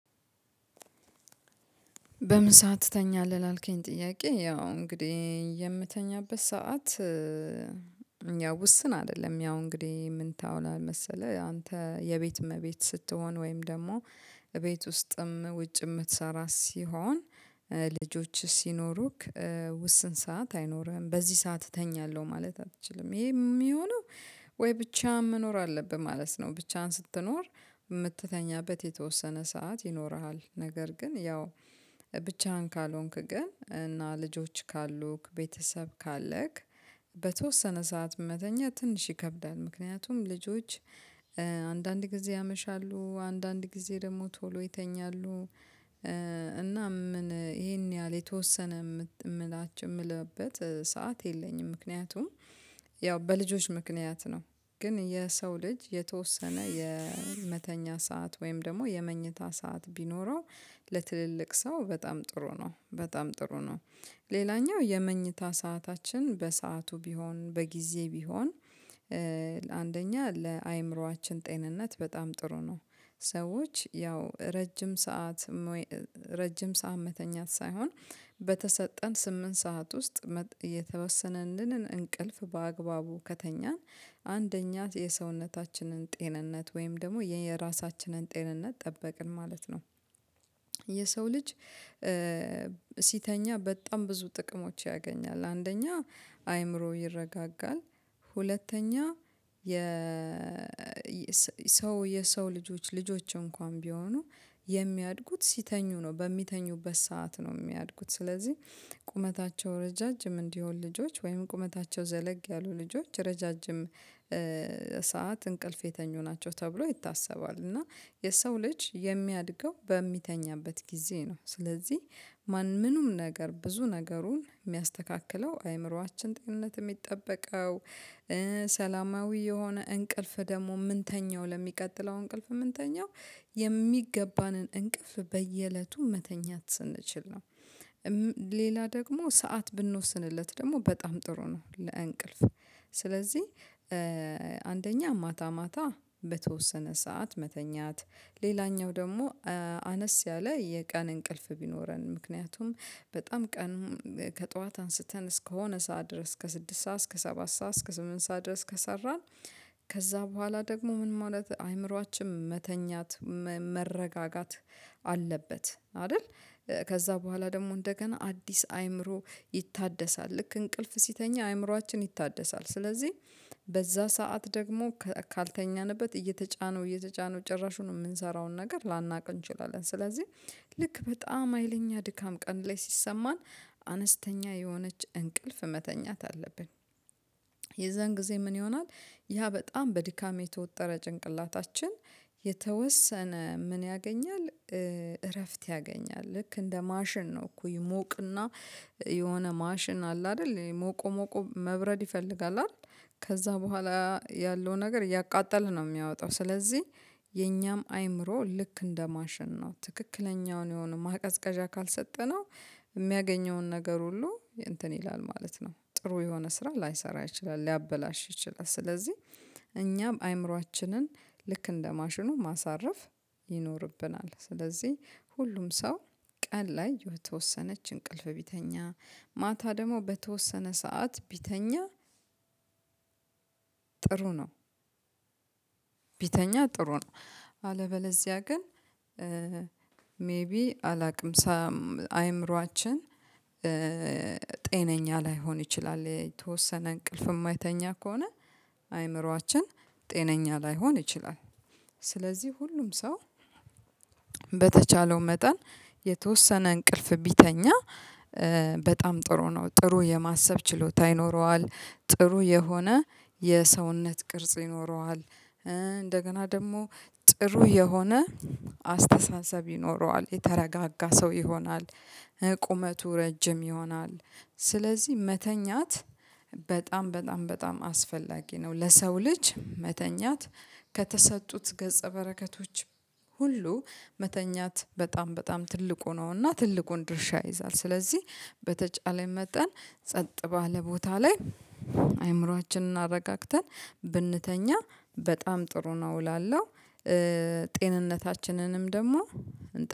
በምን ሰዓት ትተኛለህ? ላልከኝ ጥያቄ ያው እንግዲህ የምተኛበት ሰዓት ያው ውስን አይደለም። ያው እንግዲህ ምን ታውላ መሰለህ አንተ የቤት እመቤት ስትሆን፤ ወይም ደግሞ እቤት ውስጥም ውጭ የምትሰራ ሲሆን፤ ልጆች ሲኖሩክ ውስን ሰዓት አይኖርህም። በዚህ ሰዓት እተኛለሁ ማለት አትችልም። ይሄ የሚሆነው ወይ ብቻህን መኖር አለብህ ማለት ነው። ብቻህን ስትኖር የምትተኛበት የተወሰነ ሰዓት ይኖርሃል። ነገር ግን ያው ብቻህን ካልሆንክ ግን እና ልጆች ካሉክ ቤተሰብ ካለክ በተወሰነ ሰዓት መተኛት ትንሽ ይከብዳል። ምክንያቱም ልጆች አንዳንድ ጊዜ ያመሻሉ አንዳንድ ጊዜ ደግሞ ቶሎ ይተኛሉ። እናም ምን ይሄን ያህል የተወሰነ የምላችሁ የምልበት ሰዓት የለኝም። ምክንያቱም ያው በልጆች ምክንያት ነው። ግን የሰው ልጅ የተወሰነ የመተኛ ሰዓት ወይም ደግሞ የመኝታ ሰዓት ቢኖረው ለትልልቅ ሰው በጣም ጥሩ ነው። በጣም ጥሩ ነው። ሌላኛው የመኝታ ሰዓታችን በሰአቱ ቢሆን በጊዜ ቢሆን አንደኛ ለአእምሮአችን ጤንነት በጣም ጥሩ ነው። ሰዎች ያው ረጅም ሰዓት ረጅም ሰዓት መተኛት ሳይሆን፤ በተሰጠን ስምንት ሰዓት ውስጥ የተወሰነልንን እንቅልፍ በአግባቡ ከተኛን፤ አንደኛ የሰውነታችንን ጤንነት ወይም ደግሞ የራሳችንን ጤንነት ጠበቅን ማለት ነው። የሰው ልጅ ሲተኛ በጣም ብዙ ጥቅሞች ያገኛል። አንደኛ አይምሮ ይረጋጋል፤ ሁለተኛ የ ሰው የሰው ልጆች ልጆች እንኳን ቢሆኑ የሚያድጉት ሲተኙ ነው፤ በሚተኙበት ሰዓት ነው የሚያድጉት። ስለዚህ ቁመታቸው ረዣዥም እንዲሆን ልጆች ወይም ቁመታቸው ዘለግ ያሉ ልጆች ረዣዥም ሰዓት እንቅልፍ የተኙ ናቸው ተብሎ ይታሰባል። እና የሰው ልጅ የሚያድገው በሚተኛበት ጊዜ ነው። ስለዚህ ምንም ነገር ብዙ ነገሩን የሚያስተካክለው፤ አይምሮአችን ጤንነት የሚጠበቀው ሰላማዊ የሆነ እንቅልፍ ደግሞ ምንተኛው፤ ለሚቀጥለው እንቅልፍ የምንተኛው የሚገባንን እንቅፍ በየእለቱ መተኛት ስንችል ነው። ሌላ ደግሞ ሰዓት ብንወስንለት ደግሞ በጣም ጥሩ ነው ለእንቅልፍ። ስለዚህ አንደኛ ማታ ማታ በተወሰነ ሰዓት መተኛት፤ ሌላኛው ደግሞ አነስ ያለ የቀን እንቅልፍ ቢኖረን። ምክንያቱም በጣም ቀን ከጠዋት አንስተን እስከሆነ ሰዓት ድረስ ከስድስት ሰዓት እስከ ሰባት ሰዓት እስከ ስምንት ሰዓት ድረስ ከሰራን፤ ከዛ በኋላ ደግሞ ምን ማለት አይምሮአችን መተኛት መረጋጋት አለበት። አይደል? ከዛ በኋላ ደግሞ እንደገና አዲስ አይምሮ ይታደሳል። ልክ እንቅልፍ ሲተኛ አይምሯችን ይታደሳል። ስለዚህ በዛ ሰዓት ደግሞ ካልተኛንበት እየተጫነው እየተጫነው ጭራሹኑ የምንሰራውን ነገር ላናውቅ እንችላለን። ስለዚህ ልክ በጣም ሀይለኛ ድካም ቀን ላይ ሲሰማን አነስተኛ የሆነች እንቅልፍ መተኛት አለብን። የዛን ጊዜ ምን ይሆናል ያ በጣም በድካም የተወጠረ ጭንቅላታችን የተወሰነ ምን ያገኛል እረፍት ያገኛል። ልክ እንደ ማሽን ነው እኮ ይሞቅና የሆነ ማሽን አለ አይደል ሞቆ ሞቆ መብረድ ይፈልጋል አይደል ከዛ በኋላ ያለው ነገር እያቃጠለ ነው የሚያወጣው ስለዚህ የኛም አይምሮ ልክ እንደ ማሽን ነው። ትክክለኛውን የሆነ ማቀዝቀዣ ካልሰጠነው የሚያገኘውን ነገር ሁሉ እንትን ይላል ማለት ነው። ጥሩ የሆነ ስራ ላይሰራ ይችላል ሊያበላሽ ይችላል። ስለዚህ እኛም አይምሮአችንን ልክ እንደ ማሽኑ ማሳረፍ ይኖርብናል። ስለዚህ ሁሉም ሰው ቀን ላይ የተወሰነች እንቅልፍ ቢተኛ፤ ማታ ደግሞ በተወሰነ ሰዓት ቢተኛ ጥሩ ነው። ቢተኛ ጥሩ ነው። አለበለዚያ ግን ሜይቢ አላውቅም ሳም አይምሮአችን ጤነኛ ላይሆን ይችላል። የተወሰነ እንቅልፍ የማይተኛ ከሆነ አይምሮአችን ጤነኛ ላይሆን ይችላል። ስለዚህ ሁሉም ሰው በተቻለው መጠን የተወሰነ እንቅልፍ ቢተኛ በጣም ጥሩ ነው። ጥሩ የማሰብ ችሎታ ይኖረዋል፣ ጥሩ የሆነ የሰውነት ቅርጽ ይኖረዋል፣ እንደገና ደግሞ ጥሩ የሆነ አስተሳሰብ ይኖረዋል፣ የተረጋጋ ሰው ይሆናል፣ ቁመቱ ረጅም ይሆናል፣ ስለዚህ መተኛት በጣም በጣም በጣም አስፈላጊ ነው። ለሰው ልጅ መተኛት ከተሰጡት ገጸ በረከቶች ሁሉ መተኛት በጣም በጣም ትልቁ ነውና ትልቁን ድርሻ ይይዛል። ስለዚህ በተቻለ መጠን ጸጥ ባለ ቦታ ላይ አእምሮአችንን አረጋግተን ብንተኛ በጣም ጥሩ ነው እላለሁ። ጤንነታችንንም ደግሞ